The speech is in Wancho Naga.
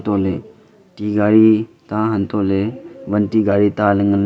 eko ley ti gari ta hantoh ley wan ti gari ta ley ngan ley.